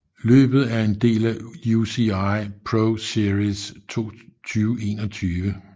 Løbet er en del af UCI ProSeries 2021